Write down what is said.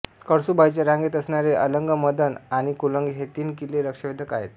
कळसूबाईच्या रांगेत असणारे अलंग मदन आणि कुलंग हे तीन किल्ले लक्षवेधक आहेत